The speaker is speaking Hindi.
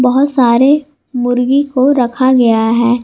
बहोत सारे मुर्गी को रखा गया है।